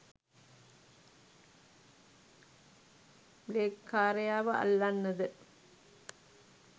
බ්ලෙග්කාරයාව අල්ලන්නද?